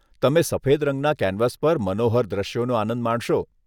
તમે સફેદ રંગના કેનવાસ પર મનોહર દૃશ્યોનો આનંદ માણશો.